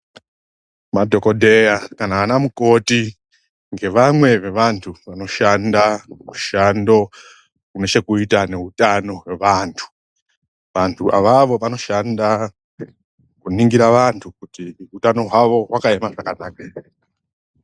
Madhokoteya kana vana mukoti ndevamwe wevantu vanoshanda mushando unechekuita neutano hwevantu. Vantu avavo vanoshanda kuningira vantu kuti hutano wevantu wakamira zvakanaka here.